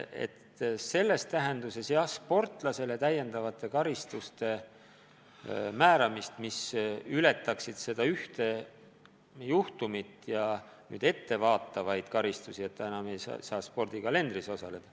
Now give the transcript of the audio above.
Me pole ette pannud määrata sportlasele täiendavaid karistusi, mis ületaksid ühe konkreetse juhtumi piire ja vaataks ka ette, nii et ta enam ei saa üldse spordivõistlustel osaleda.